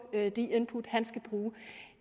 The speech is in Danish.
de input han skal bruge